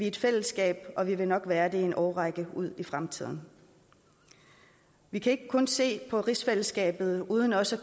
et fællesskab og vi vil nok være det i en årrække ud i fremtiden vi kan ikke kun se på rigsfællesskabet uden også